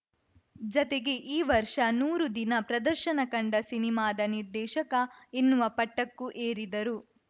ಜತೆಗೆ ಈ ವರ್ಷ ನೂರು ದಿನ ಪ್ರದರ್ಶನ ಕಂಡ ಸಿನಿಮಾದ ನಿರ್ದೇಶಕ ಎನ್ನುವ ಪಟ್ಟಕ್ಕೂ ಏರಿದರು